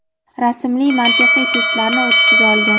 rasmli mantiqiy testlarni o‘z ichiga olgan.